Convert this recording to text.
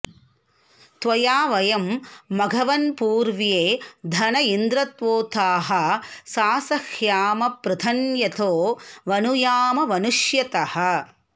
त्वया वयं मघवन्पूर्व्ये धन इन्द्रत्वोताः सासह्याम पृतन्यतो वनुयाम वनुष्यतः